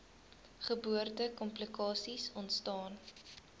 geboorte komplikasies ontstaan